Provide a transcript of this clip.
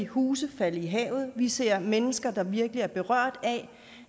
huse falde i havet vi ser mennesker der virkelig er berørt af